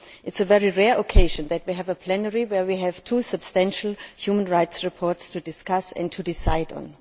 It is a very rare occasion that we have a plenary where we have two substantial human rights reports to discuss and to decide on.